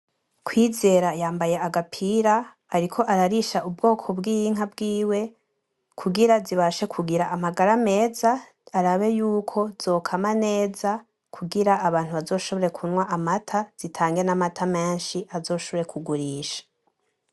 Kwizera yambaye agapira ariko ararisha ubwoko bwinka bwiwe kugira zibashe kugira amagara meza arabe yuko zokama neza kugira abantu bazoshobore kunywa amata zitange namata menshi azoshobore kugurisha.